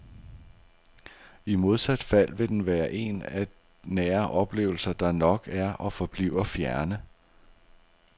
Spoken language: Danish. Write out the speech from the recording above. I modsat fald vil den være en af nære oplevelser, der nok er og forbliver fjerne.